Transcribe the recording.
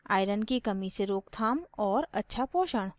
iron की कमी से रोकथाम और अच्छा पोषण